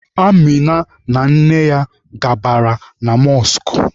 Amịna na nne ya gabara na mọskụ.